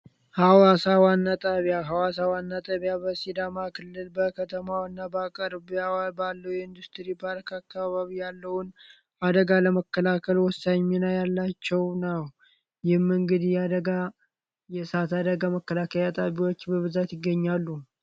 ሀዋሳ ዋና ጣቢያ ሐዋሳ ዋና ጣቢያ በሲዳማ ክልል በጅማ እና በአካባቢዋ ባሉ ኢንዱስትሪ ያለውን አደጋ ለመከላከል ወሳኝ ሚና ያላቸው እና የመንገድ የእሳት አደጋ መከላከያዎችና ሌሎችም ናቸው።